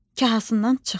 Kahasından çıxdı.